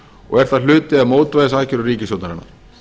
og er það hluti af mótvægisaðgerðum ríkisstjórnarinnar